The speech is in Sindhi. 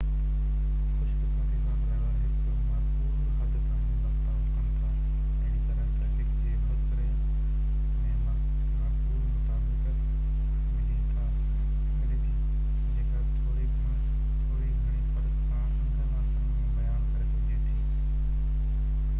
خُوش قِسمتي سان ڊِرائيور هڪ معقول حد تائين برتاءُ ڪن ٿا اهڙيء طرح ٽريفڪ جي وهڪري ۾ معقول مطابقت ملي ٿي جيڪا ٿوري گهڻي فرق سان انگن اکرن ۾ بيان ڪري سگهجي ٿي